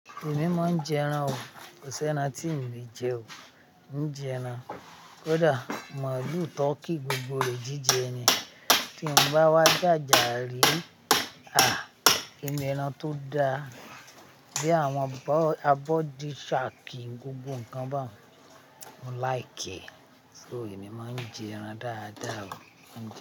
Èmi máa ń jẹ ẹran o, kò sẹ́ ẹran tí n le jẹ o. Mo ń jẹ ẹran, kódà màlú, turkey, gbogbo rẹ̀ jíjẹ ni. Tí mo bá wá jà jà rí, ah! Inú ẹran tó da. Bí àwọn abọ́di, shark, gbogbo nǹkan bá ùn Mo like e, so èmi máa ń jẹ ẹran dáadáa o.